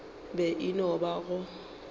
be e no ba go